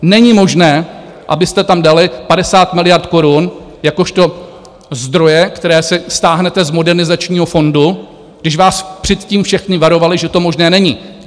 Není možné, abyste tam dali 50 miliard korun jakožto zdroje, které si stáhnete z Modernizačního fondu, když vás předtím všechny varovali, že to možné není.